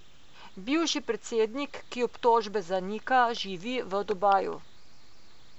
Bivši predsednik, ki obtožbe zanika, živi v Dubaju.